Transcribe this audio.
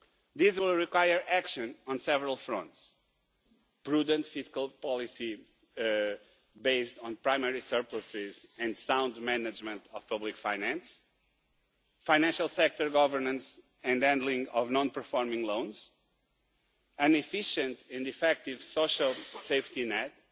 This will require action on several fronts prudent fiscal policy based on primary surpluses and sound management of public finance, financial sector governance and handling of non-performing loans, an efficient and effective social safety